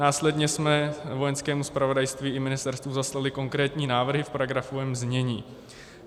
Následně jsme Vojenskému zpravodajství i ministerstvu zaslali konkrétní návrhy v paragrafovém znění.